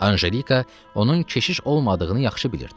Anjelika onun keşiş olmadığını yaxşı bilirdi.